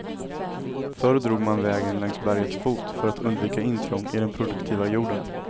Förr drog man vägen längs bergets fot för att undvika intrång i den produktiva jorden.